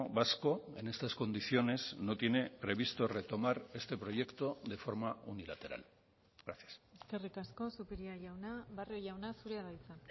vasco en estas condiciones no tiene previsto retomar este proyecto de forma unilateral gracias eskerrik asko zupiria jauna barrio jauna zurea da hitza